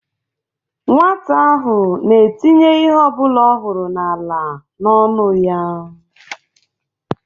Nwata ahụ na-etinye ihe ọbụla ọ hụrụ n'ala n'ọnụ ya